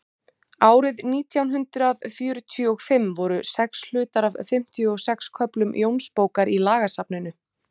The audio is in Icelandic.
árið nítján hundrað fjörutíu og fimm voru hlutar af fimmtíu og sex köflum jónsbókar í lagasafninu